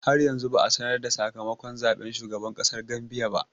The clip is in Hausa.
Har yanzu ba a sanar da sakamakon zaɓen shugaban ƙasar Gambia ba.